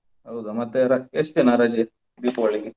ಹೌದಾ! ಮತ್ತೆ ಎಲ್ಲಾ ಎಷ್ಟ್ ದಿನ ರಜೆ Deepavali ಗೆ?